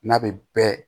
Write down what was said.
N'a bɛ bɛɛ